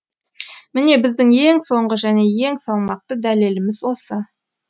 міне біздің ең соңғы және ең салмақты дәлеліміз осы